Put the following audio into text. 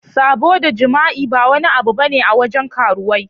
Sabo da jima'i ba wani abu bane a wajen karuwai.